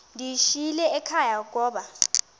ndiyishiyile ekhaya koba